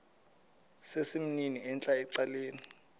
sesimnini entla ecaleni